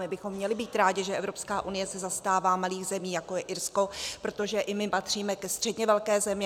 My bychom měli být rádi, že Evropská unie se zastává malých zemí, jako je Irsko, protože i my patříme ke středně velkým zemím.